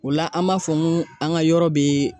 O la an b'a fɔ n ko an ga yɔrɔ be